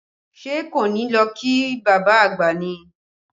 Ṣé a kò ní lọ kí bàbá àgbà ni?